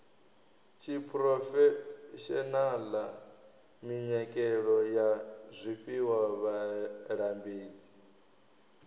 tshiphurofeshenaḽa minyikelo ya zwifhiwa vhalambedzi